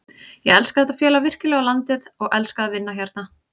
Ég elska þetta félag virkilega og landið og elska að vinna hérna.